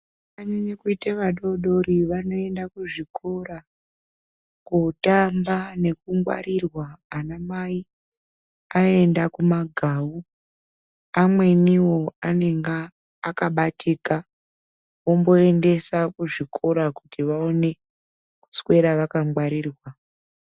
Vana vakanyanya kuite vana vadodori vanoende kuzvikora kotamba nekungwarirwa ana mai aenda kumagau. Amwenivo anenga akabatika vomboendesa kuzvikora kuti vaone kutswera vakangwarirwa.